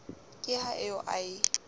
ke ha eo a e